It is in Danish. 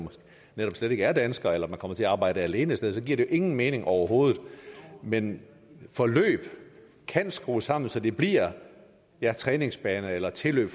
netop slet ikke er danskere eller man kommer til at arbejde alene et sted og så giver det ingen mening overhovedet men forløb kan skrues sammen så de bliver en træningsbane eller et tilløb